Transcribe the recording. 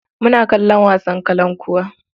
Muna kalon wasan kalankuwa.